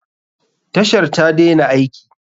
Tashar ta daina aiki.